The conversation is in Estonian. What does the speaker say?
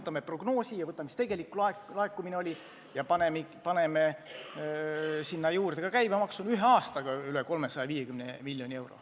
Võtame prognoosi ja selle, mis tegelik laekumine oli, ja paneme sinna juurde ka käibemaksu: ühe aastaga miinus üle 350 miljoni euro.